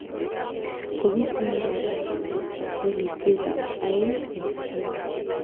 Kokisindan Arsenal ak kolisiek ab Aeng en Agenge